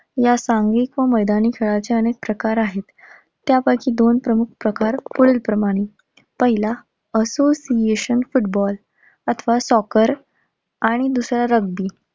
या सांघिक मैदानी खेळाचे अनेक प्रकार आहेत. त्यापैकी दोन प्रमुख प्रकार पुढीलप्रमाणे, पहिला association फुटबॉल अथवा soccer आणि दुसरा rugby.